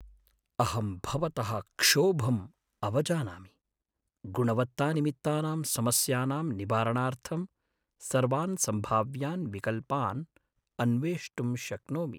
अहं भवतः क्षोभम् अवजानामि, गुणवत्तानिमित्तानां समस्यानां निवारणार्थं सर्वान् सम्भाव्यान् विकल्पान् अन्वेष्टुं शक्नोमि।